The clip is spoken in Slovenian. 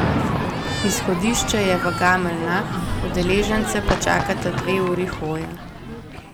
Izhodišče je v Gameljnah, udeležence pa čakata dve uri hoje.